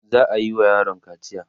za'ayi wa yaron kaciya